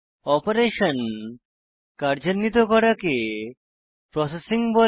operation কার্যান্নিত করাকে processing বলে